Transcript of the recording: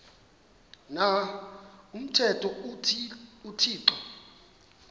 na umthetho uthixo